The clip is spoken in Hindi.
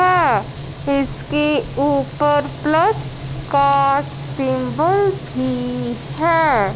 अह इसके ऊपर प्लस का सिंबल भी है।